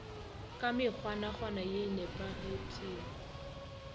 ka mekgwanakgwana ye e nepagetpego